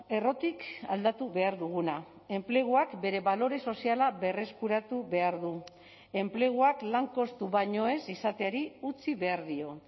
errotik aldatu behar duguna enpleguak bere balore soziala berreskuratu behar du enpleguak lan kostu baino ez izateari utzi behar dio